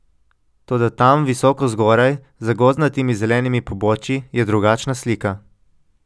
Toda tam visoko zgoraj, za gozdnatimi zelenimi pobočji, je drugačna slika.